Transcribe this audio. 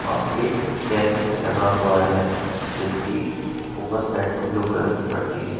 और एक टेन्ट भी लगा हुआ है जिसकी ऊपर साइड में ब्लू कलर की पट्टी है।